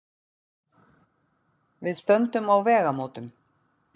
Við stöndum á vegamótum.